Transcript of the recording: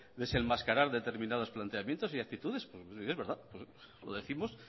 desenmascarar determinados planteamientos y actitudes y es verdad lo décimos